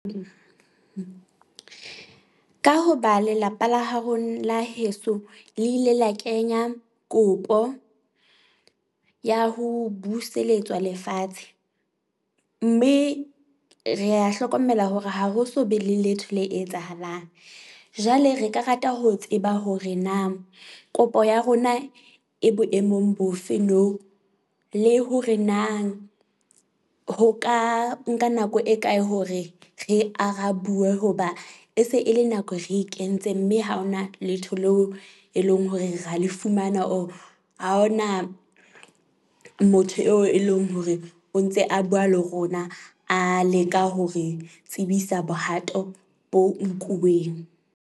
Ka hoba lelapa la haro la heso le ile la kenya kopo ya ho buseletswa lefatshe, mme re hlokomela hore ha ho so be le letho le etsahalang. Jwale re ka rata ho tseba hore na kopo ya rona e boemong bofe nou. Le hore na ho ka nka nako e kae hore re arabuwa hoba e se e le nako re e kentse. Mme ha hona letho leo e leng hore ra le fumana or ha hona motho eo e leng hore o ntse a bua le rona a leka hore tsebisa bohato bo nkuweng.